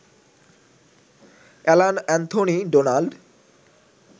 Alan Anthony Donald